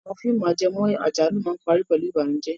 Àwọn fíìmù ajẹmọ́ àjálù máa ń parí pẹ̀lú ìbànújẹ́.